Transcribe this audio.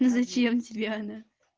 и зачем тебе она